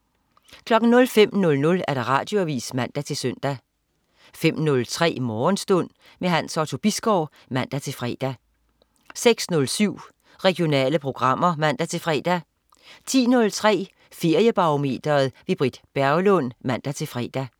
05.00 Radioavis (man-søn) 05.03 Morgenstund. Hans Otto Bisgaard (man-fre) 06.07 Regionale programmer (man-fre) 10.03 Feriebarometeret. Britt Berglund (man-fre)